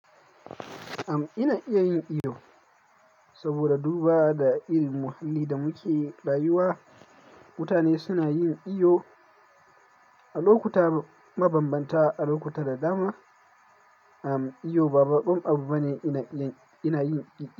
Am ina iya yin iyo saboda duba da irin muhalli da muke rayuwa. Mutane suna yin iyo a lokuta mabambanta, a lokuta da dama. Am iyo ba ba baƙon abu bane ina, ina yin iyo.